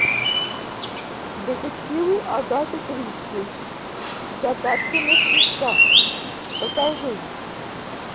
детективы агаты кристи загадка мертвеца покажи